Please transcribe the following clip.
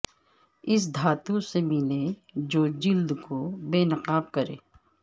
اس دھاتوں سے ملیں جو جلد کو بے نقاب کریں